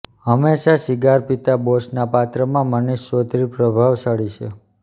હંમેશા સિગાર પિતા બોસના પાત્રમાં મનિષ ચૌધરી પ્રભાવશાળી છે